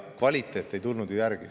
Kvaliteet ei tulnud ju järele.